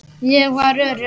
Ég var örugg.